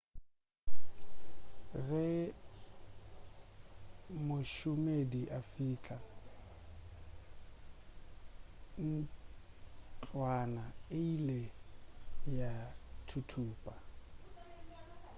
ge mošomedi a fihla ntlwana e ile ya thuthupa